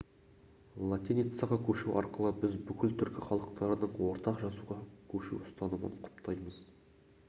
латиницаға көшу арқылы біз бүкіл түркі халықтарының ортақ жазуға көшу ұстанымын құптаймыз